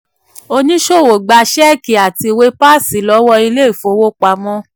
oníṣòwò gba ṣẹ́ẹ̀kì àti ìwé páàsì lọ́wọ́ ilé ìfowopamọ́.